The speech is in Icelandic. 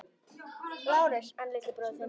LÁRUS: En litli bróðir þinn?